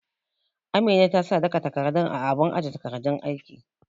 Amina ta sa duka takardun a abun aje takardun aiki